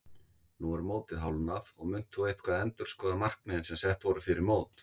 Nú er mótið hálfnað og munt þú eitthvað endurskoða markmiðin sem sett voru fyrir mót?